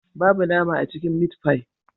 Babu nama a cikin mitfai